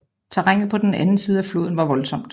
Terrænet på den anden side floden var voldsomt